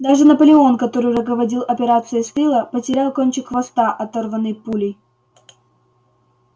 даже наполеон который руководил операцией с тыла потерял кончик хвоста оторванный пулей